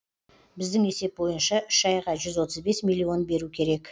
біздің есеп бойынша үш айға жүз отыз бес миллион беру керек